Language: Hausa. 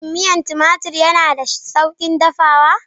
Shin miyar tumatir yana da sauƙin dafawa?